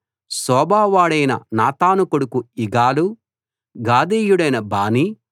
సోబావాడైన నాతాను కొడుకు ఇగాలు గాదీయుడైన బానీ